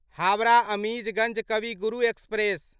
Howrah Azimganj Kavi Guru express